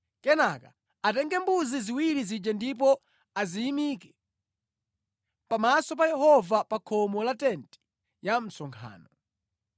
Kenaka atenge mbuzi ziwiri zija ndipo aziyimike pamaso pa Yehova pa khomo la tenti ya msonkhano.